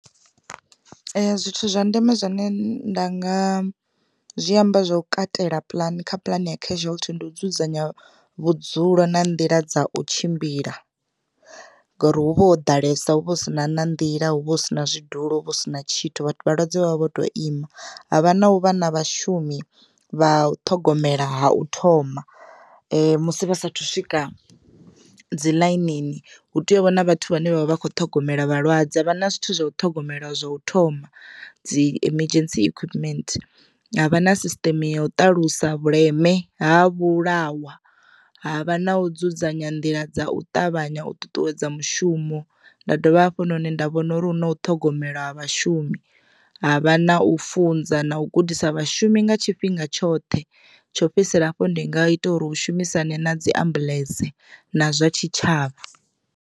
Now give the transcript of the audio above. Zwithu zwa ndeme zwine nda nga zwi amba zwo katela puḽani kha puḽane ya casualty ndi u dzudzanya vhudzulo na nḓila dza u tshimbila, ngori huvha ho ḓalesa huvha hu si na na nḓila huvha hu sina zwidulo hu vha hu si na tshithu vhalwadze vhavha vho to ima. Havha na u vha na vhashumi vha u ṱhogomela ha u thoma musi vha sathu swika dzi ḽainini hu tea u vha na vhathu vhane vha vha vha kho ṱhogomela vhalwadze ha vha na zwithu zwa u ṱhogomela zwa u thoma dzi emergency equipment havha na sisiteme ya u ṱalusa vhuleme ha vhulawa havha na u dzudzanya nḓila dza u ṱavhanya u ṱuṱuwedza mushumo. Nda dovha hafhunoni nda vhona uri hu na u ṱhogomela vhashumi havha na u funza na u gudisa vhashumi nga tshifhinga tshoṱhe tsho fhedzisela hafho ndi nga ita uri hu shumisane na dzi ambuḽentse na zwa tshitshavha.